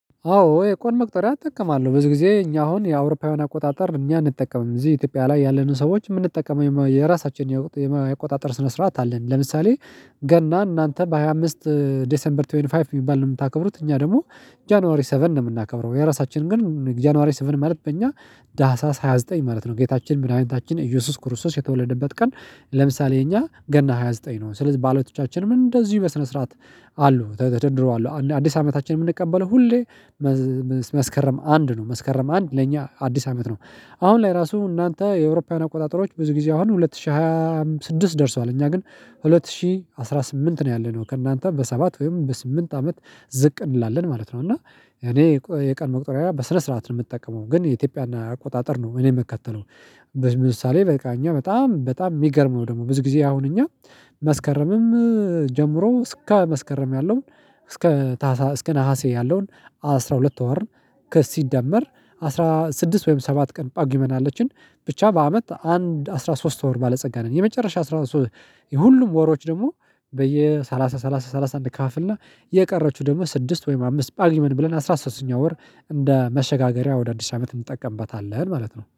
አዎ የቀን መቁጠሪያ እጠቀማለሁ ብዙ ጊዜ እኛ አሁን የአውሮፓውያን አቆጣጠር እኛን እንጠቀምም እዚህ ኢትዮጵያ ላይ ያለንን ሰዎች የምንጠቀመው የራሳችንን የቆጣጠር ስነ ስርዓት አለን። ለምሳሌ ገና እናንተ በሃያ አምስት ዴሴምበር ሃያ አምስት የሚባል ነው የምታከብሩት እኛ ደግሞ ጃንዋሪ ሰቨን ነው የምናከብረው የራሳችንን ግን ጃንዋሬ ስፍን ማለት በእኛ ታህሳስ ሃያ ዘጠኝ ማለት ነው ጌታችን ምዳኒታችን ኢየሱስ ክርስቶስ የተወለደበት ቀን። ለምሳሌ የኛ ገና ሃያ ዘጠኝ ነው ስለዚህ ባለቶቻችንም እንደዚሁ በስነ ስርዓት ገና እናንተ በሃያ አምስት ዴሴምበር ሃያ አምስት የሚባል ነው የምታከብሩት እኛ ደግሞ ጃንዋሪ ሰቨን ነው የምናከብረው የራሳችንን ግን ጃንዋሬ ስፍን ማለት በእኛ ታህሳስ ሃያ ዘጠኝ ማለት ነው ጌታችን ምዳሀኒታችን ኢየሱስ ክርስቶስ የተወለደበት ቀን። ለምሳሌ የኛ ገና ሃያ ዘጠኝ ነው ስለዚህ ባለቶቻችን ምን እንደዚሁ በስነ ስርዓት መስከረም አንድ ነው መስከረም አንድ ለኛ አዲስ አመት ነው። አሁን ላይ ራሱ እናንተ የአውሮፓውያን አቆጣጠሮች ብዙ ጊዜ አሁን ሁለት ሺህ ሃያ ስድስት ደርሷል እኛ ግን ሁለት ሺህ አስራ ስምንት ነው ያለነው ከእናንተ በሰባት ወይም በስምንት አመት ዝቅ እንላለን ማለት ነው። እና እኔ የቀን መቁጠሪያ በስነ ስርዓት ነው የምጠቀመው ግን የኢትዮጵያ እና አቆጣጠር ነው እኔ የምከተለው። ምሳሌ በቃ እኛ በጣም በጣም የሚገርመው ደግሞ ብዙ ጊዜ አሁን እኛ መስከረምም ጀምሮ እስከ መስከረም ያለውን እስከ እስከ ነሀሴ ያለውን አስራ ሁለት ወር ከሲደመር አስራ ስድስት ወይም ሰባት ቀን ፓጉሜን አለችን ብቻ በአመት አንድ አስራ ሶስት ወር ባለጸጋ ነን። የመጨረሻ አስራ ሶስት የሁሉም ወሮች ደግሞ በየሰላሳ ሰላሳ ሰላሳ አንከፋፍል እና የቀረችው ደግሞ ስድስት ወይም አምስት ጷግሜ ብለን አስራ ሶስተኛው ወር እንደ መሸጋገሪያ ወደ አዲስ አመት እንጠቀምበታለን ማለት ነው